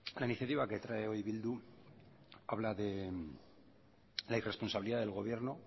la iniciativa que trae hoy bildu habla de la irresponsabilidad del gobierno